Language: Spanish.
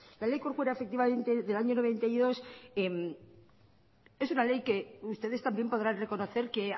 la ley corcuera efectivamente del año mil novecientos noventa y dos es una ley que ustedes también podrán reconocer que